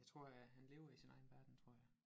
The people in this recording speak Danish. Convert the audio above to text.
Jeg tror at han lever i sin egen verden tror jeg